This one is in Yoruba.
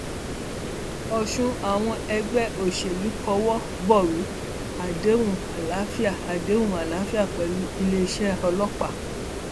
tẹgbọntàbúrò fẹẹ ṣoògùn owó ni um wọn bá lọọ hú òkú bàbá wọn nílùú um ọfà